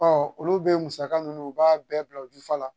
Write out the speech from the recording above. Ɔ olu bɛ musaka ninnu u b'a bɛɛ bila u dufa la